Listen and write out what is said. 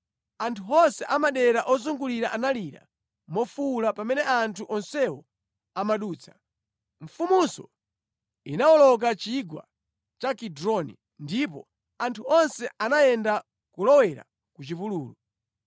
Anthu onse a madera ozungulira analira mofuwula pamene anthu onsewo amadutsa. Mfumunso inawoloka chigwa cha Kidroni, ndipo anthu onse anayenda kulowera ku chipululu.